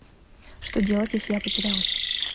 что делать если я потерялась